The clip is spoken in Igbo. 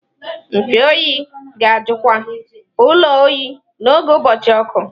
Mfe oyi ga-ajụkwa ụlọ oyi n'oge ụbọchị ọkụ.